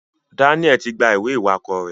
Daniel tí gbà ìwé iwakọ rẹ.